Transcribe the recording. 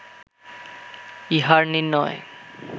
ইহার নির্ণয়